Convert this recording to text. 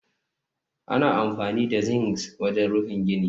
Ana amfani da zincs wajen rufin gini